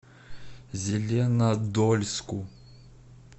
зеленодольску